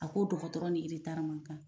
A ko dɔgɔtɔrɔ ni eretari man kan